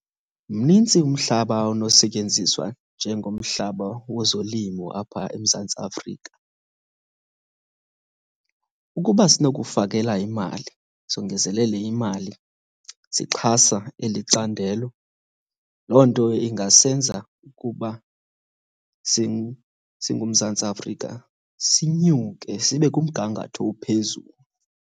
Mnintsi umhlaba onosetyenziswa njengomhlaba wezolimo apha eMzantsi Afrika. Ukuba sinokufakela imali, songezelele imali sixhasa eli candelo, loo nto ingasenza ukuba singuMzantsi Afrika sinyuke sibe kumgangatho ophezulu.